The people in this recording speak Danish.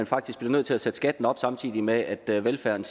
faktisk bliver nødt til at sætte skatten op samtidig med at at velfærden